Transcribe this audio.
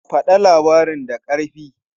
Faɗa labarin da ƙarfi!